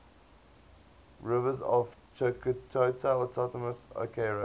rivers of chukotka autonomous okrug